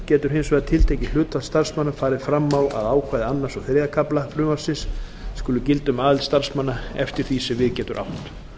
getur hins vegar tiltekið hlutfall starfsmanna farið fram á að ákvæði annarrar og þriðja kafla frumvarpsins skuli gilda um aðild starfsmanna eftir því sem við getur átt